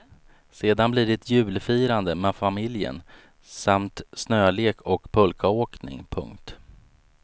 Sedan blir det julfirande med familjen samt snölek och pulkaåkning. punkt